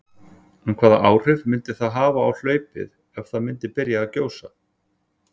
En hvaða áhrif myndi það hafa á hlaupið ef það myndi byrja að gjósa?